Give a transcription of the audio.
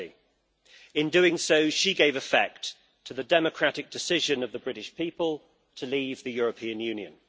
50. In doing so she gave effect to the democratic decision of the British people to leave the European Union.